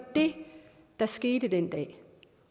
det der skete den dag